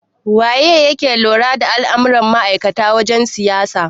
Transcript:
Waye yake lura da al'amuran ma'aikatan wajen siyayya?